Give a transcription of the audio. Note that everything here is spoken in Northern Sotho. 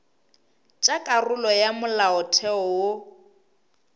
tša karolo ya molaotheo wo